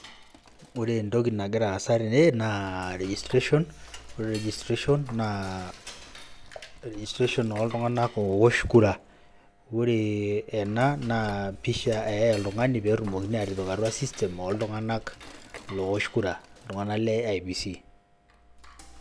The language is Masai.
Ore entoki nagra aasa tene naa registration ore registration naa oltung'anak oosh kura ore ena naa pisha eyai oltung'ani pee etumokini aatipik atua system oltung'anak loosh kura, iltung'anak le IEBC.